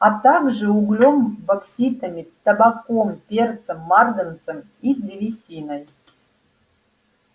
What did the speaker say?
а также углем бокситами табаком перцем марганцем и древесиной